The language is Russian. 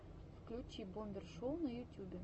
включи бомбер шоу на ютубе